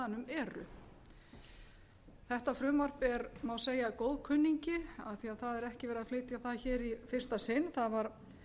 eru þetta frumvarp er má segja góðkunningi af því að það er ekki verið að flytja það hér í fyrsta sinn það var